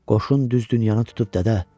Qoşun düz dünyanı tutub, dədə.